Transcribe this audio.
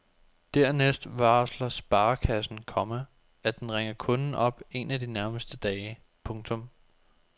Dernæst varsler sparekassen, komma at den ringer kunden op en af de nærmeste dage. punktum